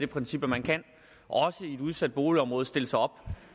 princip at man kan også i et udsat boligområde stille sig op